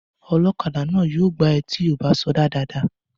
Ọlọ́kadà náà yóò gbá ẹ tí ò bá sọdá dáadáa